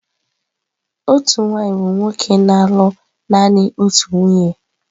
Otu nwaanyị bụ nwoke na-alụ naanị otu nwunye.